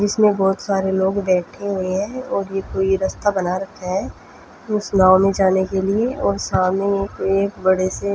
इसमें बहुत सारे लोग बैठे हुए है और ये कोई रास्ता बना रखा है उस नाव जाने के लिए और सामने एक बढे से--